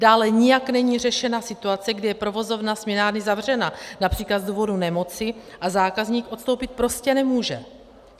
Dále nijak není řešena situace, kdy je provozovna směnárny zavřena, například z důvodu nemoci, a zákazník odstoupit prostě nemůže.